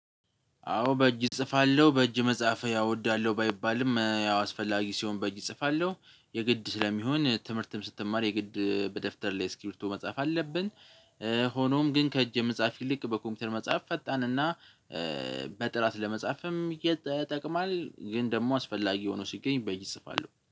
አዎ በእጅ እጽፋለሁ በእጅ መጻፍ ያው እወዳለሁ ባይባልም ያው አስፈላጊ ሲሆን በእጅ እጽፋለሁ የግድ ስለሚሆን ትምህርትም ስትማር የግድ በደፍተር ላይ እስክርቢቶ መጻፍ አለብን። ሆኖም ግን ከእጅ የጻፍ ይልቅ በኮምፒውተር መጻፍ ፈጣንና በጥራት ለመጻፍም ይጠቅማል። ግን ደግሞ አስፈላጊ ሆኖ ሲገኝ በይ ይጽፋሉ